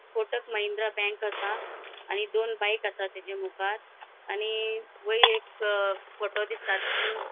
कोटक Mahindra bank आसा आणि दोन बाइक आसा तेच्या मुख़ार आणि वयर एक फोटो दिसता तीतून --